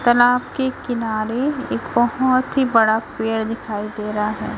तलाब के किनारे एक बहुत ही बड़ा पेड़ दिखाई दे रहा है।